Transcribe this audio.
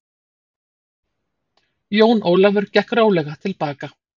Jón Ólafur gekk rólega til baka.